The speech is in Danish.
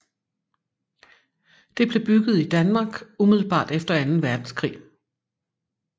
Det blev bygget i Danmark umiddelbart efter Anden Verdenskrig